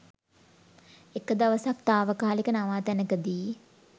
එක දවසක් තාවකාලික නවාතැනකදි